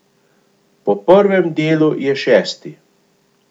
Po prvem delu je šesti.